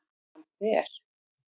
Hann fer